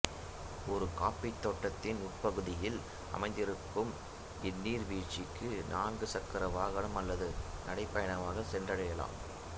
ஒரு காப்பித் தோட்ட்த்தின் உட்பகுதியில் அமைந்திருக்கும் இந்நீர்வீழ்ச்சிக்கு நான்கு சக்கர வாகனம் அல்லது நடை பயணமாக சென்றடையலாம்